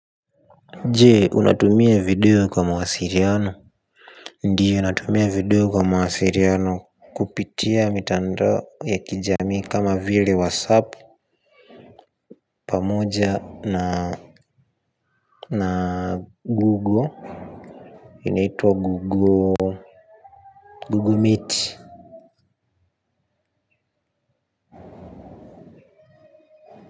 Jee, unatumia video kwa mwasiliano ndio natumia video kwa mwasiliano kupitia mitandao ya kijamii kama vile whatsapp pamoja na google inaitwa google meet.